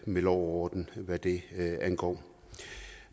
med lov og orden hvad det angår